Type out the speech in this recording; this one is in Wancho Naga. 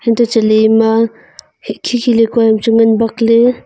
untoh chatley ema k-khi khi lekua am chu ngan bakley.